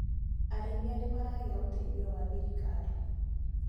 Arĩithia nĩmaragĩa ũteithio wa thirikari.